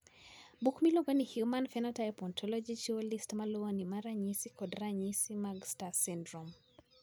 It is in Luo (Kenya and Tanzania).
Buk miluongo ni Human Phenotype Ontology chiwo list ma luwoni mar ranyisi kod ranyisi mag STAR syndrome.